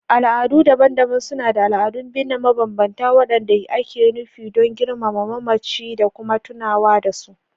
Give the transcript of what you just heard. Al'adu daban-daban suna da al'adun binne mabambanta waɗanda ake nufi don girmama mamaci da kuma tunawa da su.